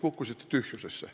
Kukkusite tühjusesse.